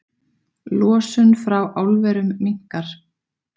Losun frá álverum minnkar